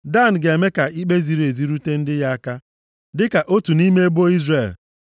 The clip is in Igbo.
“Dan ga-eme ka ikpe ziri ezi rute ndị ya aka dịka otu nʼime ebo Izrel.